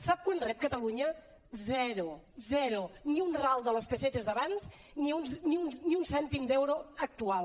sap quant rep catalunya zero zero ni un ral de les pessetes d’abans ni un cèntim d’euro actual